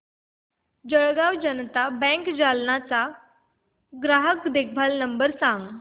Jalgaon Janata bank Jalna चा ग्राहक देखभाल क्रमांक सांग